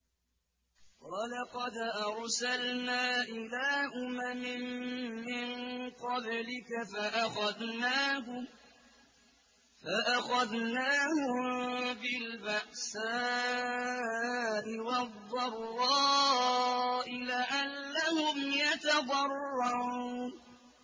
وَلَقَدْ أَرْسَلْنَا إِلَىٰ أُمَمٍ مِّن قَبْلِكَ فَأَخَذْنَاهُم بِالْبَأْسَاءِ وَالضَّرَّاءِ لَعَلَّهُمْ يَتَضَرَّعُونَ